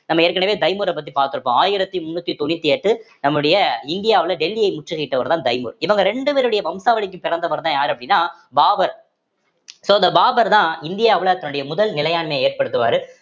நம்ம ஏற்கனவே தைமூர பத்தி பார்த்திருக்கோம் ஆயிரத்தி முன்னூத்தி தொண்ணூத்தி எட்டு நம்முடைய இந்தியாவுல டெல்லியை முற்றுகையிட்டவர்தான் தைமூர் இவங்க ரெண்டு பேருடைய வம்சாவழிக்கு பிறந்தவர்தான் யாரு அப்படின்னா பாபர் so அந்த பாபர்தான் இந்தியாவுல தன்னுடைய முதல் நிலையாண்மையை ஏற்படுத்துவாரு